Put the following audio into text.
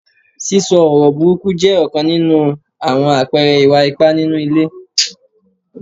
Sísọ ọ̀rọ̀ burúkú jẹ́ ọ̀kan nínú àwọn àpẹẹrẹ ìwà ipá nínú ilé.